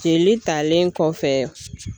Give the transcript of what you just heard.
Jeli talen kɔfɛ